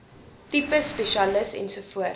tipe spesialis ens